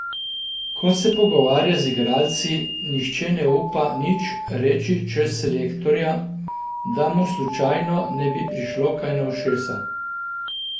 Ko se pogovarjaš z igralci, nihče ne upa nič reči čez selektorja, da mu slučajno ne bi prišlo kaj na ušesa.